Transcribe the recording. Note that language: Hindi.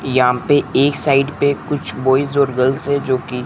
यहां पे एक साइड पे कुछ बॉयज और गर्ल्स है जो कि--